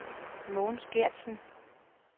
Mogens Geertsen